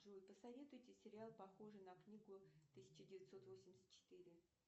джой посоветуйте сериал похожий на книгу тысяча девятьсот восемьдесят четыре